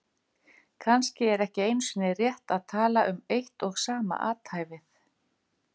Kannski er ekki einu sinni rétt að tala um eitt og sama athæfið.